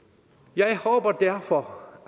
jeg håber derfor